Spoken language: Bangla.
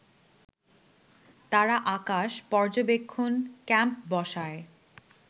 তারা আকাশ পর্যবেক্ষণ ক্যাম্প বসায়